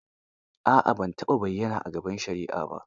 A'a ban taɓa bayyana a gaban shari'a ba.